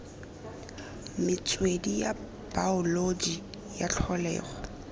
metswedi ya baoloji ya tlholego